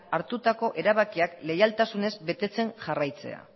hartutako erabakiak lehialtasunez betetzen jarraitzea